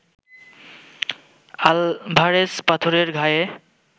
Alvarez পাথরের ঘায়ে